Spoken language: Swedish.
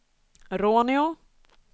Råneå